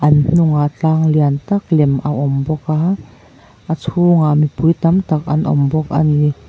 an hnungah tlang lian tak lem a awm bawk a a chhungah mipui tam tak an awm bawk a ni.